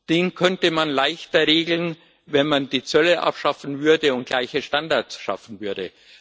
den könnte man leichter regeln, wenn man die Zölle abschaffen und gleiche Standards schaffen würde.